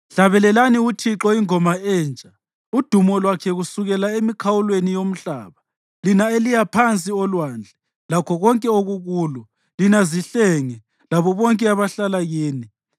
Hlabelelani uThixo ingoma entsha, udumo lwakhe kusukela emikhawulweni yomhlaba, lina eliya phansi olwandle, lakho konke okukulo, lina zihlenge, labo bonke abahlala kini.